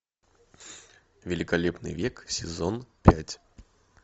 великолепный век сезон пять